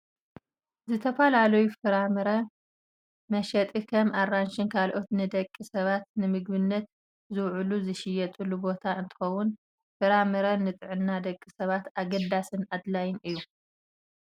ዝተፈላለዩ ናይ ፍራምረ መሸጢ ከም ኣራንሽን ካልኦትን ንደቂ ሰባት ንምግብነት ዝውዕሉ ዝሽየጠሉ ቦታ እንትከውን፣ ፍራምረ ንጥዕና ደቂ ሰባት ኣገዳስን ኣድላይን እዩ።